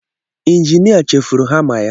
Injinia chefuru hamma ya.